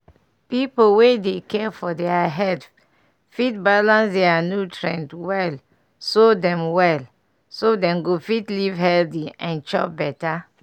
people wey dey care for their health fit balance their nutrient well so dem well so dem go fit live healthy and chop better